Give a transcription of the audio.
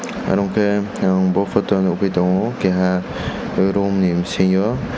oro hwnkhe ang bo photo nukgui tongo keiha roomni bisingo.